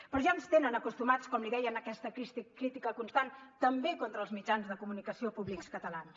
però ja ens hi tenen acostumats com li deia a aquesta crítica constant també contra els mitjans de comunicació públics catalans